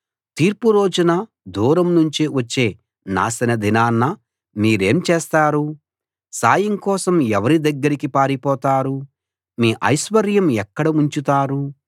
తీర్పు రోజున దూరం నుంచి వచ్చే నాశనదినాన మీరేం చేస్తారు సాయం కోసం ఎవరి దగ్గరికి పారిపోతారు మీ ఐశ్వర్యం ఎక్కడ ఉంచుతారు